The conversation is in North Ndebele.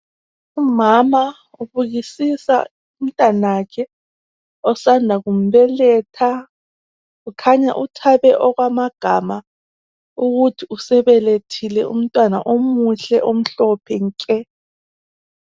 Umama ubukisisa umntanakhe osanda kumbeletha ,kukhanya uthabe okwamagama ukuthi usebelethile umntwana omuhle omhlophe nke .